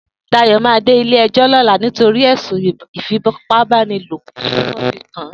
Dayo mà dé ilé ẹjọ lọ̀lá nitọri ẹ̀sún ìfípábànilópọ̀ tiwọn fi kàán